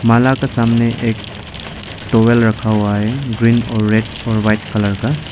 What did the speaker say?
माला का सामने एक टॉवेल रखा हुआ है ग्रीन और रेड और वाइट कलर का।